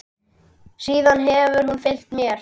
Síðan hefur hún fylgt mér.